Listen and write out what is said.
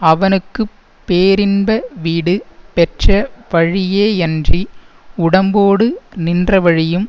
அவனுக்கு பேரின்ப வீடு பெற்ற வழியேயன்றி உடம்போடு நின்ற வழியும்